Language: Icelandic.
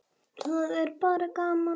Það er bara gaman